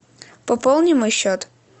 пополни мой счет